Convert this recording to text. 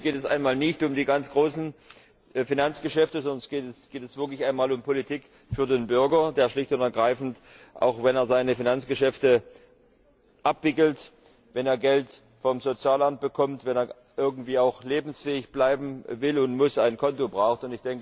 Hier geht es einmal nicht um die ganz großen Finanzgeschäfte, sondern es geht jetzt wirklich einmal um Politik für den Bürger, der schlicht und ergreifend, wenn er seine Finanzgeschäfte abwickelt, wenn er Geld vom Sozialamt bekommt, wenn er irgendwie lebensfähig bleiben will und muss, ein Konto braucht.